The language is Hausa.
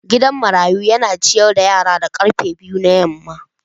Gidan marayu yana ciyar da yaran da karfe biyu na yamma.